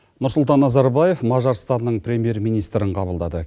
нұрсұлтан назарбаев мажарстанның премьер министрін қабылдады